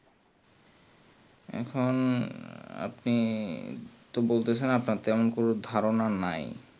এখুন আপনি তো বলতেছেন কোনো ধারণা নাই